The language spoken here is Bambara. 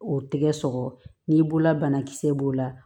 O tɛgɛ sɔgɔ n'i bolola banakisɛ b'o la